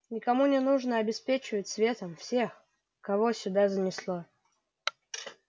никому не нужно обеспечивать светом всех кого сюда занесло